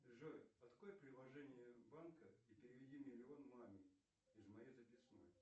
джой открой приложение банка и переведи миллион маме из моей записной